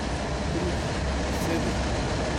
Pridi, sedi.